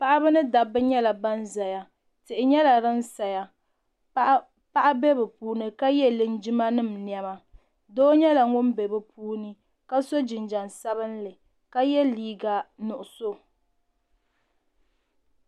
Paɣaba ni dabba nyɛla ban zaya tihi nyɛla din saya paɣa bɛ bi puuni ka yɛ linjima nim niɛma doo nyɛla ŋun bɛ puuni ka so jinjam sabinli ka yɛ liiga nuɣusu.